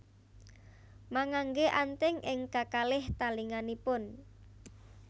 Mangangge anting ing kakalih talinganipun